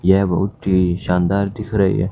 यह बहुत ही शानदार दिख रही--